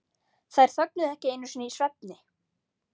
Þær þögnuðu ekki einu sinni í svefni.